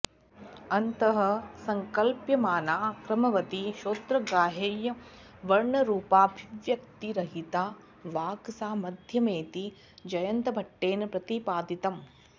अन्तः संकल्प्यमाना क्रमवती श्रोत्रग्राह्यवर्णरुपाभिव्यक्तिरहिता वाक् सा मध्यमेति जयन्तभट्टेन प्रतिपादितम्